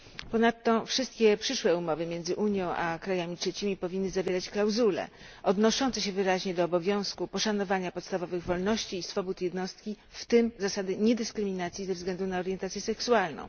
Ponadto wszystkie przyszłe umowy między Unią a krajami trzecimi powinny zawierać klauzule odnoszące się wyraźnie do obowiązku poszanowania podstawowych wolności i swobód jednostki, w tym zasady niedyskryminacji ze względu na orientację seksualną.